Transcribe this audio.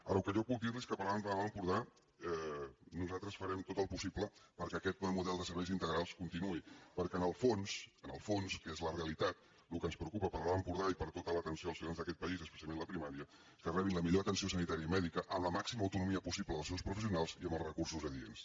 ara el que jo puc dirli és que per a l’alt empordà nosaltres farem tot el possible perquè aquest model de serveis integrals continuï perquè en el fons en el fons que és la realitat el que ens preocupa per a l’alt empordà i per a tota l’atenció als ciutadans d’aquest país és precisament la primària que rebin la millor atenció sanitària i mèdica amb la màxima autonomia possible dels seus professionals i amb els recursos adients